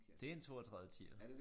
Det en 32 tier